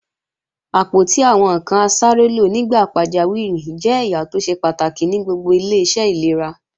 Àpótí àwọn ǹkan asárélò nígbà pàjáwìrì jẹ́ ẹ̀yà tó ṣe pàtàkì ní gbogbo ilé-iṣẹ́ ìlera